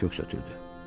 Qoca köks ötürdü.